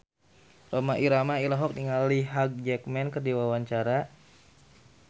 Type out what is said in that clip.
Rhoma Irama olohok ningali Hugh Jackman keur diwawancara